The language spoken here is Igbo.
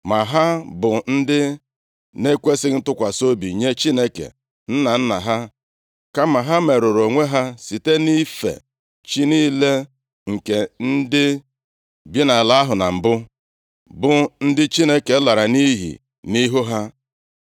Ma ha bụ ndị na-ekwesighị ntụkwasị obi nye Chineke nna nna ha. Kama ha merụrụ onwe ha site nʼife chi niile nke ndị bi nʼala ahụ na mbụ, bụ ndị Chineke lara nʼiyi nʼihu ha.